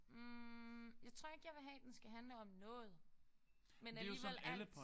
Hm jeg tror ikke jeg vil have den skal handle om noget men alligevel alt